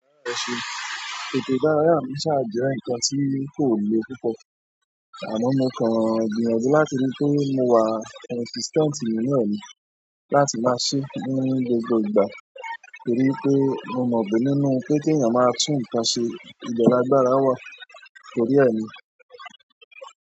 Èdè àrá ẹ̀ṣẹ̀, èdè ìdárayá mi ṣà jẹ́ ǹkan tí kò le púpọ̀, àná mo kàn gbìyànjú láti rí pé mo wà consistent nínú ẹ̀ ní láti máa ṣe ní gbogbo ìgbà torí pé mo mọ̀ bí nínú pé kí ẹ̀yàn máa tún ǹkan ṣe ìbẹ lágbára wà tórí ẹ ni.